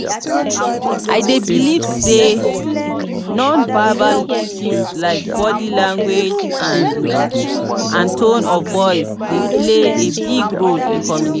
i dey believe say non-verbal cues like body language and and tone of voice dey play a big role in communication.